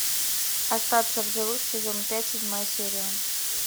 остаться в живых сезон пять седьмая серия